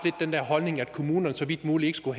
den holdning at kommunerne så vidt muligt ikke skulle